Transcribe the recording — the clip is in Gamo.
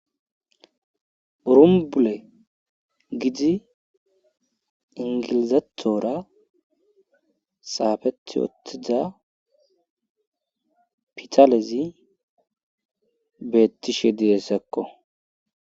Urumbule gidi ingilizatoora saafeti ottiza pitalezi beettishe didessekko.